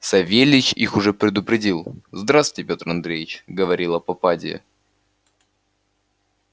савельич их уже предупредил здравствуйте пётр андреич говорила попадья